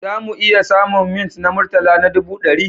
Za mu iya samun mints na murtala na ɗubu ɗari?